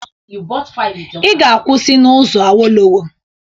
Ị ga-akwụsị n'ụzọ Awolowo.